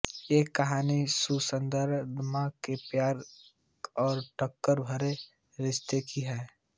ये कहानी ससुरदामाद के प्यार और टकरार भरे रिश्ते की है